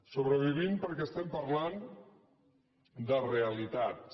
sobrevivint perquè parlem de realitats